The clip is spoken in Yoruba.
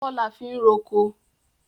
Ọkọ́ la fi ń roko.